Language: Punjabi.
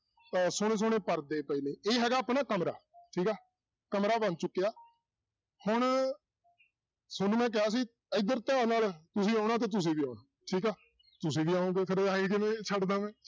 ਉਹ ਸੋਹਣੇ ਸੋਹਣੇ ਪਰਦੇ ਪਏ ਨੇ ਇਹ ਹੈਗਾ ਆਪਣਾ ਕਮਰਾ ਠੀਕ ਆ, ਕਮਰਾ ਬਣ ਚੁੱਕਿਆ ਹੁਣ ਤੁਹਾਨੂੰ ਮੈਂ ਕਿਹਾ ਸੀ ਇੱਧਰ ਧਿਆਨ ਨਾਲ ਤੁਸੀਂ ਆਉਣਾ ਤੇ ਤੁਸੀਂ ਵੀ ਆਉਣਾ ਠੀਕ ਆ ਤੁਸੀਂ ਵੀ ਆਓਗੇ ਫਿਰ ਇਉਂ ਕਿਵੇਂ ਛੱਡ ਦੇਵਾਂ ਮੈ